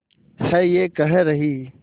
है ये कह रही